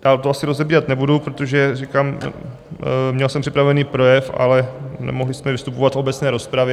Dál to asi rozebírat nebudu, protože říkám, měl jsem připravený projev, ale nemohli jsme vystupovat v obecné rozpravě.